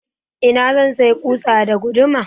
Ina zan sayi ƙusa da guduma?